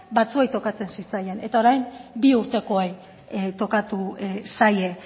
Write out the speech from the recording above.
batzuei tokatzen zitzaien eta orain bi urtekoei tokatu zaie